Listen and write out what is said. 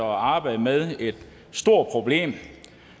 og arbejdet med et stort problem